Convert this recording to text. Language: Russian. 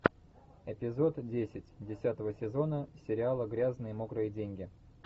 эпизод десять десятого сезона сериала грязные мокрые деньги